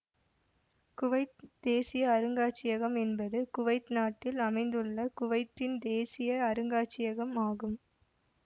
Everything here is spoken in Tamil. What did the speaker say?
குவைத் தேசிய அருங்காட்சியகம் என்பது குவைத் நாட்டில் அமைந்துள்ள குவைத்தின் தேசிய அருங்காட்சியகம் ஆகும்